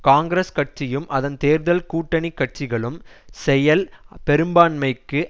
காங்கிரஸ் கட்சியும் அதன் தேர்தல் கூட்டணி கட்சிகளும் செயல் பெரும்பான்மைக்கு